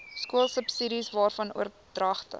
skoolsubsidies waarvan oordragte